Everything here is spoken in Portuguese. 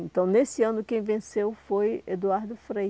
Então, nesse ano, quem venceu foi Eduardo Frei.